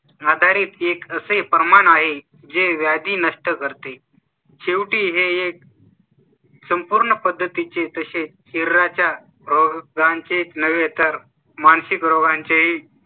आधारीत एक असे हे प्रमाण आहे जे व्याधी नष्ट करते शेवटी हे . संपूर्ण पद्धतीचे तसे हिरा च्या रोगांचे नव्हे तर मानसिक रोगांचे ही.